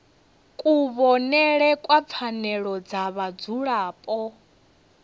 kuvhonele kwa pfanelo dza vhadzulapo